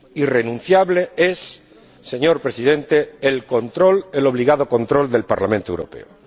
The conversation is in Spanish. Irrenunciable es, señor Presidente, el obligado control del Parlamento Europeo.